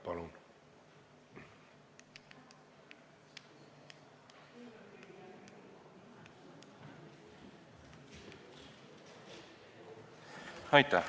Palun!